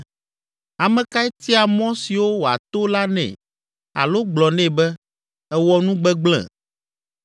Ame kae tia mɔ siwo wòato la nɛ alo gblɔ nɛ be, ‘Èwɔ nu gbegblẽ?’